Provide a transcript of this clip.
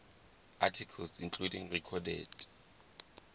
articles including recorded